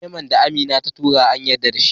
memon da Amina ta tura an yarda dashi